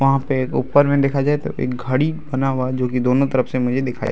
वहाँ पे एक ऊपर में देखा जाए तो एक घड़ी बना हुआ है जोकि दोनो तरफ से मुझे दिखाई --